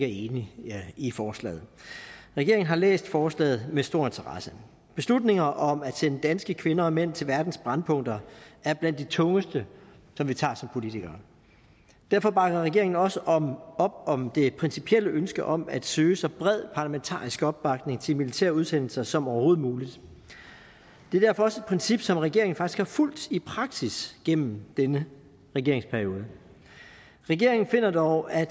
enig i forslaget regeringen har læst forslaget med stor interesse beslutninger om at sende danske kvinder og mænd til verdens brændpunkter er blandt de tungeste som vi tager som politikere derfor bakker regeringen også op om det principielle ønske om at søge så bred parlamentarisk opbakning til militære udsendelser som overhovedet muligt det er derfor også et princip som regeringen faktisk har fulgt i praksis gennem denne regeringsperiode regeringen finder dog at